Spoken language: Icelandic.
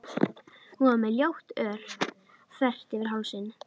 Hún var með ljótt ör þvert yfir hálsinn.